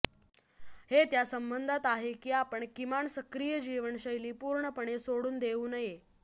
हे त्या संबंधात आहे की आपण किमान सक्रिय जीवनशैली पूर्णपणे सोडून देऊ नये